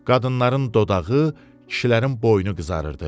Qadınların dodağı, kişilərin boynu qızarırdı.